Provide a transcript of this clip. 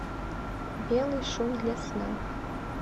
белый шум для сна